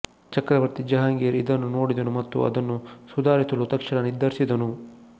ಚಕ್ರವರ್ತಿ ಜಹಾಂಗೀರ್ ಇದನ್ನು ನೋಡಿದನು ಮತ್ತು ಅದನ್ನು ಸುಧಾರಿಸಲು ತಕ್ಷಣ ನಿರ್ಧರಿಸಿದನು